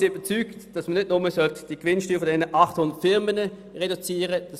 Wir sind überzeugt, dass man nicht nur die Gewinnsteuer dieser 800 Firmen reduzieren sollte.